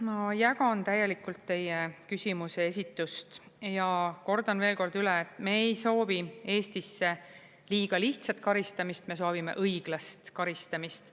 Ma jagan täielikult teie küsimuse esitust ja kordan veel kord üle, et me ei soovi Eestisse liiga lihtsat karistamist, me soovime õiglast karistamist.